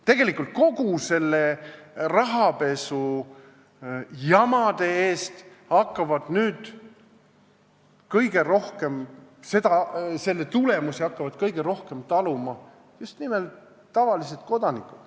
Tegelikult peavad kogu selle rahapesujama tulemusi hakkama kõige rohkem taluma just nimelt tavalised kodanikud.